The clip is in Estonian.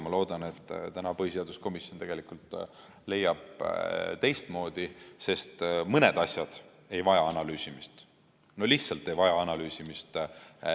Ma loodan, et täna põhiseaduskomisjon leiab teistmoodi, sest mõn asi ei vaja analüüsimist – no lihtsalt ei vaja analüüsimist.